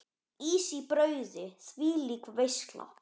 Ís í brauði, þvílík veisla.